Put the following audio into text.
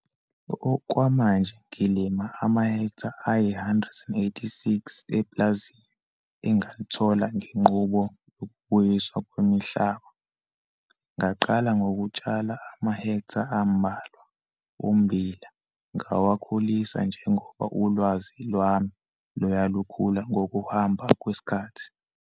Okwamanje ngilima amahektha ayi-186 epulazini engalithola ngenqubo yokubuyiswa kwemihlaba. Ngaqala ngokutshala amahektha ambalwa ommbila ngawakhulisa njengoba ulwazi lwami luya lukhula ngokuhamba kwesikhathi.